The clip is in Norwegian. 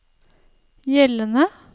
gjeldende